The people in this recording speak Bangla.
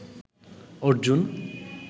অর্জুন